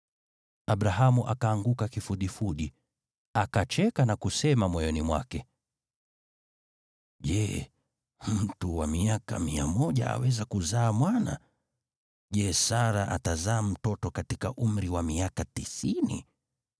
Abrahamu akaanguka kifudifudi, akacheka na kusema moyoni mwake, “Je, mtu wa miaka mia moja aweza kuzaa mwana? Je, Sara atazaa mtoto katika umri wa miaka tisini?”